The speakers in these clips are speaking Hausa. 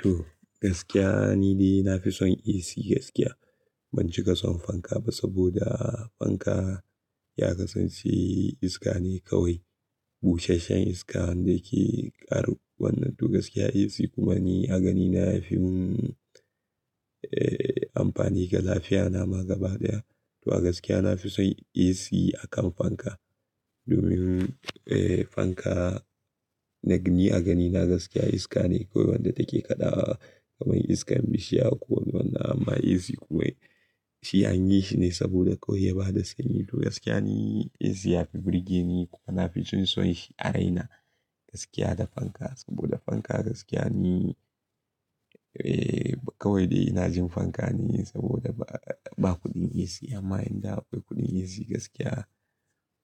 To, gaskiya ni dai na fi son AC gaskiya. Ban cika son fanka ba saboda, fanka ya kasance iska ne kawai, busasshen iska wanda ke ƙaruwanna. To gaskiya AC kuma ni a ganina yafi mun, eh, amfani ga lafiyana ma gaba daya. To a gaskiya na fi son AC akan fanka, domin eh, fanka ni a ganina gaskiya iska ne kawai wanda take kaɗawa kamar iskar bishiya ko wannan amma AC kuma shi an yi shi ne saboda kawai ya bada sanyi. To gaskiya ni AC yafi burge ni kuma na fi jin son shi a raina, gaskiya da fanka saboda fanka gaskiya ni, eh, kawai dai ina jin fanka ne saboda ba kuɗin AC. Amma inda akwai kuɗin AC gaskiya,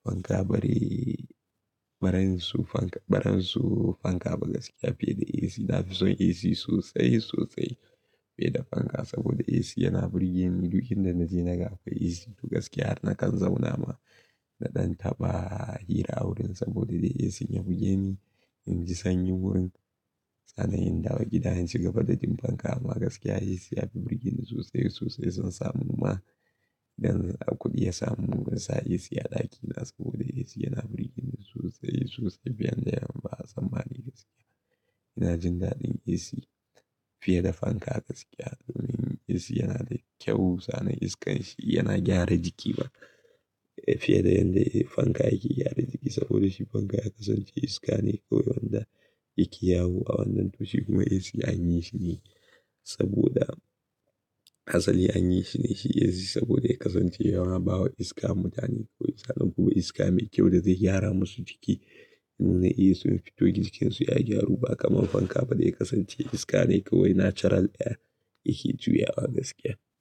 fanka bare, baransu fanka, baransu fanka ba gaskiya fiye da AC. Na fi son AC sosai, sosai fiye da fanka saboda AC yana burge ni duk inda naje na ga akwai AC. To gaskiya har na kan zauna ma na ɗan taɓa hira a wurin saboda dai AC ya buge ni, in ji sanyi wurin. Sannan yanda wa gida insu gaba da tim fanka amma gaskiya AC yafi burge ni sosai, sosai son samu ma idan akwai kuɗi ya samu zansa AC a ɗakina saboda AC yana burge ni sosai, sosai fiye da yadda yamma sammani gaskiya. Ina jin daɗin AC fiye da fanka gaskiya domin AC yana da kyau. Sannan iskan shi yana gyara jiki ba fiye da yadda fanka yake gyara jiki saboda shi fanka ya kasance iska ne kawai wanda yake yawo a wannan toshi. Kuma AC an yi shi ne saboda asali an yi shi ne shi AC saboda ya kasance yawa bawa iska mutane kawai. Sannan kuma iska mai kyau da zai gyara masu jiki domin su iya su fito jikinsu ya gyaru ba kamar fanka ba da ya kasance iska ne kawai natural ɗaya yake juya wa gaskiya.